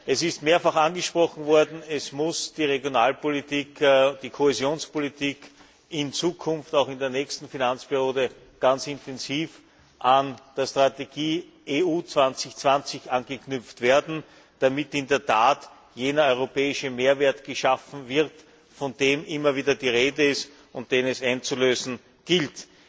Es ist mehrfach angesprochen worden Die Regionalpolitik und die Kohäsionspolitik müssen in Zukunft auch in der nächsten Finanzperiode ganz intensiv an die Strategie EU 2020 anknüpfen, damit in der Tat jener europäische Mehrwert geschaffen wird, von dem immer wieder die Rede ist und den es einzulösen gilt.